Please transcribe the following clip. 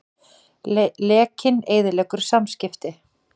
Lekinn eyðileggur samskipti